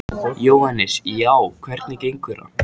Jóhannes: Já, hvernig gengur það?